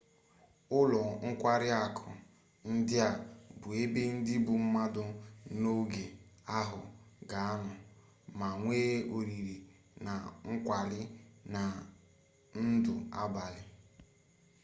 ụlọ nkwari akụ ndị a bụ ebe ndi bụ mmadụ n'oge ahụ ga-anọ ma nwee oriri na nkwari na ndụ abalị